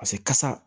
Paseke kasa